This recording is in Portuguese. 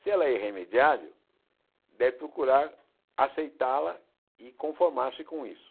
Se ela é irremediável, deve procurar aceitá-la e conformar-se com isso.